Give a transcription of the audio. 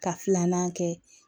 Ka filanan kɛ